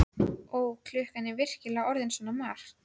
Ó, er klukkan virkilega orðin svona margt?